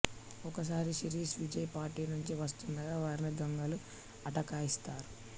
ఒకసారి శిరీష్ విజయ్ పార్టీ నుంచి వస్తుండగా వారిని దొంగలు అటకాయిస్తారు